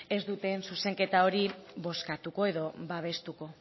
ez duten zuzenketa hori bozkatuko edo babestuko